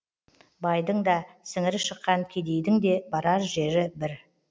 байдың да сіңірі шыққан кедейдің де барар жері бір